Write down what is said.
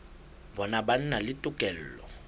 bona ba na le tokelo